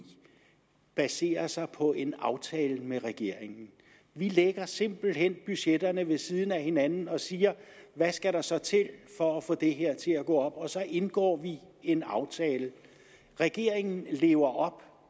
baserer sig på en aftale med regeringen vi lægger simpelt hen budgetterne ved siden af hinanden og siger hvad skal der så til for at få det her til at gå op og så indgår vi en aftale regeringen lever op